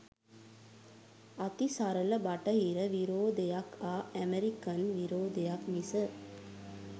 අතිසරල බටහිර විරෝධයක් හා ඇමරිකන් විරෝධයක් මිස